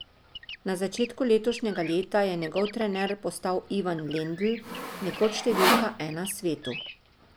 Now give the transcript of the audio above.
Na začetku letošnjega leta je njegov trener postal Ivan Lendl, nekoč številka ena svetu.